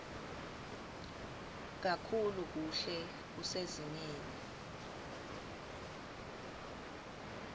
kakhulu kuhle kusezingeni